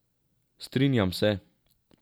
Strinjam se.